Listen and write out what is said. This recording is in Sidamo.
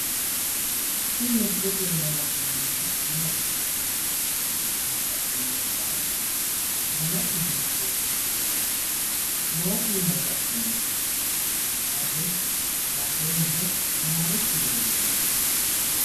Tini misilete aana la'neemmoti maati? Gadhe noo saa danase hiittoote? Maayi iima gadhe no? Saate badhee hige marichi leellanno?